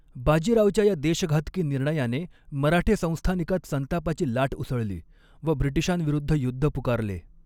बाजीरावच्या या देशघातकी निर्णयाने मराठे संस्थनिकात संतापाची लाट उसळली व ब्रिटीशांविरुद्ध युद्ध पुकारले.